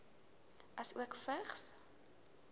asook vigs